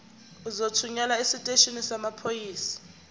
uzothunyelwa esiteshini samaphoyisa